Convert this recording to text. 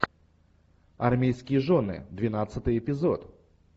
армейские жены двенадцатый эпизод